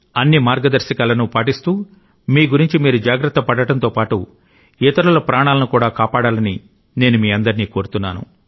అన్ని మార్గదర్శకాలను పాటిస్తూ మీ గురించి మీరు జాగ్రత్త పడడంతో పాటు ఇతరుల ప్రాణాలను కూడా కాపాడాలని నేను మీ అందరిని కోరుతున్నాను